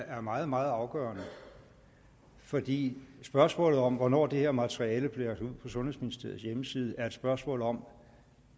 er meget meget afgørende fordi spørgsmålet om hvornår det her materiale blev lagt ud på sundhedsministeriets hjemmeside er et spørgsmål om